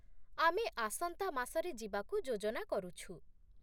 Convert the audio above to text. ଆମେ ଆସନ୍ତା ମାସରେ ଯିବାକୁ ଯୋଜନା କରୁଛୁ।